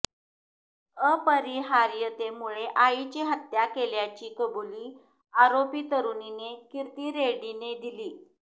अपरिहार्यतेमुळे आईची हत्या केल्याची कबुली आरोपी तरूणीने किर्ती रेड्डीने दिली